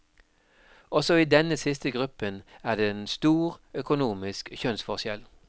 Også i denne siste gruppen er det en stor økonomisk kjønnsforskjell.